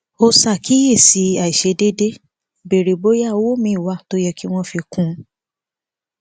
ó ṣàkíyèsí àìṣedéédé béèrè bóyá owó míì wà tó yẹ kí wón fi kún un